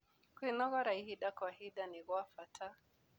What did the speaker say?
Kwĩnogora ĩhĩda gwa ĩhĩda nĩ gwa bata